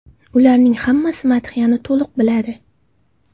Ularning hammasi madhiyani to‘liq biladi.